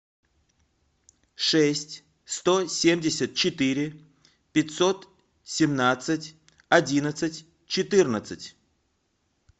шесть сто семьдесят четыре пятьсот семнадцать одиннадцать четырнадцать